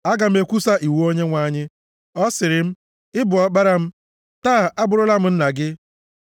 Aga m ekwusa iwu Onyenwe anyị: Ọ sịrị m, “Ị bụ Ọkpara m; taa abụrụla m nna gị.